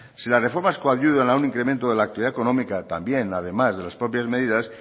si las reformas coadyuvan a un incremento de la actividad económica también además de las propias medidas